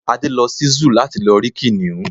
Adé lo sí Zúù láti lọ rí kìnìún